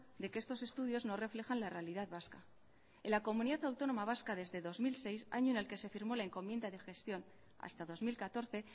de que estos estudios no reflejan la realidad vasca en la comunidad autónoma vasca desde dos mil seis año en el que se firmó la encomienda de gestión hasta dos mil catorce